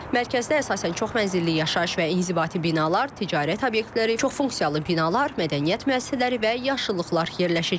Mərkəzdə əsasən çoxmənzilli yaşayış və inzibati binalar, ticarət obyektləri, çoxfunksiyalı binalar, mədəniyyət müəssisələri və yaşıllıqlar yerləşəcək.